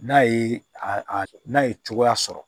N'a ye a n'a ye cogoya sɔrɔ